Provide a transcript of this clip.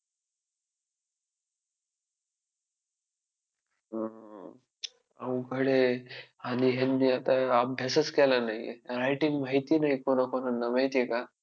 अवघड आहे आणि ह्यांनी आता अभ्यासच केला नाही. Writing माहिती नाही आहे कोणाकोणांना माहिती आहे का?